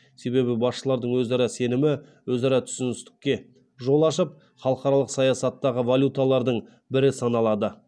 себебі басшылардың өзара сенімі өзара түсіністікке жол ашып халықаралық саясаттағы валюталардың бірі саналады